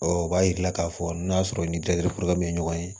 o b'a jira k'a fɔ n'a sɔrɔ ni tɛ dɛgɛ bɛ ɲɔgɔn ye